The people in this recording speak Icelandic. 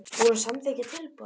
Búinn að samþykkja tilboð?